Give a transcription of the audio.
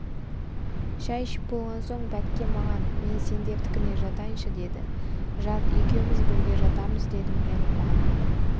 шай ішіп болған сон бәкке маған мен сендердікіне жатайыншы деді жат екеуміз бірге жатамыз дедім мен қуанып